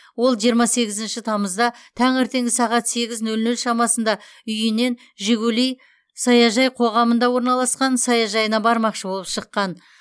ол жиырма сегізінші тамызда таңертеңгі сағат сегіз нөл нөл шамасында үйінен жигули саяжай қоғамында орналасқан саяжайына бармақшы болып шыққан